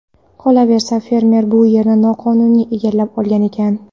Qolaversa, fermer bu yerni noqonuniy egallab olgan ekan.